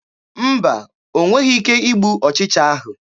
Mba, o nweghị ike igbu ọchịcha ahụ.